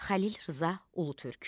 Xəlil Rza Ulutürk.